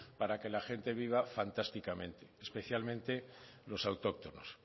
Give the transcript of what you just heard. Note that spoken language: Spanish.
para que la gente viva fantásticamente especialmente los autóctonos